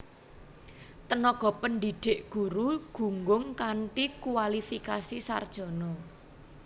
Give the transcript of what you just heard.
Tenaga pendidik guru gunggung kanthi kuwalifikasi sarjana